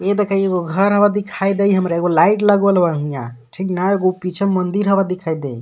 इ देखा एगो घर हव दिखाई देई हमारा एगो लाइट लगल बा इंहा ठीक ना एगो पीछे मन्दिर हव दिखाई देई।